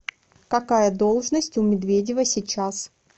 какая должность у медведева сейчас